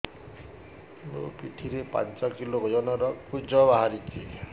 ମୋ ପିଠି ରେ ପାଞ୍ଚ କିଲୋ ଓଜନ ର କୁଜ ବାହାରିଛି